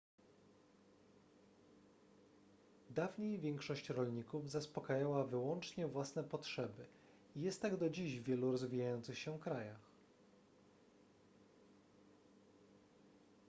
dawniej większość rolników zaspokajała wyłącznie własne potrzeby i jest tak do dziś w wielu rozwijających się krajach